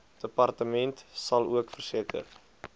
departement salook verseker